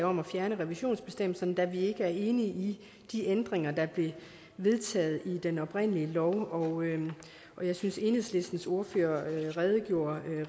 om at fjerne revisionsbestemmelsen da vi ikke er enige i de ændringer der blev vedtaget i den oprindelige lov og jeg synes enhedslistens ordfører redegjorde